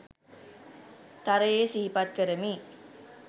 තරයේ සිහිපත් කරමි